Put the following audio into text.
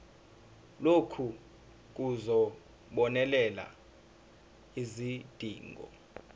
lokhu kuzobonelela izidingo